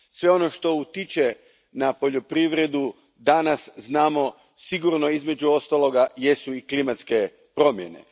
Sve ono što utječe na poljoprivredu, danas znamo, sigurno, između ostaloga, jesu i klimatske promjene.